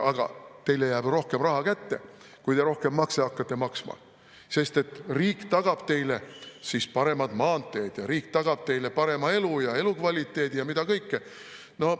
Aga teile jääb rohkem raha kätte, kui te rohkem makse hakkate maksma, sest riik tagab teile siis paremad maanteed ja riik tagab teile parema elu ja elukvaliteedi ja mida kõike.